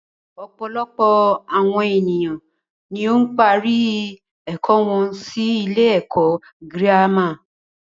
Ọ̀pọ̀lọpọ̀ àwọn ènìyàn ni ó ń parí ẹ̀kọ́ wọn sí ilé ẹ̀kọ́ gírámà.